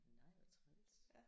Nej hvor træls